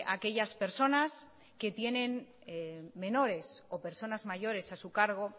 aquellas personas que tienen menores o personas mayores a su cargo